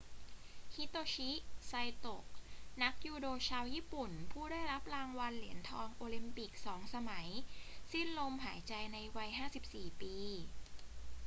ฮิโตชิ ไซโตะ นักยูโดชาวญี่ปุ่นผู้ได้รับรางวัลเหรียญทองโอลิมปิก 2 สมัย สิ้นลมหายใจในวัย 54 ปี